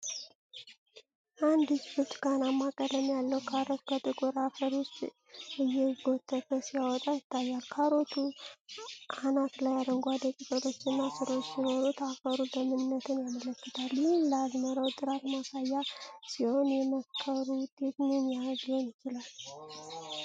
አንድ እጅ ብርቱካናማ ቀለም ያለው ካሮት ከጥቁር አፈር ውስጥ እየጎተተ ሲያወጣ ይታያል። ካሮቱ አናት ላይ አረንጓዴ ቅጠሎችና ሥሮች ሲኖሩት፣ አፈሩ ለምነትን ያመለክታል። ይህም ለአዝመራው ጥራት ማሳያ ሲሆን፣ የመከሩ ውጤት ምን ያህል ሊሆን ይችላል?